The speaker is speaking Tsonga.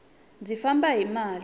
ndzi famba hi mali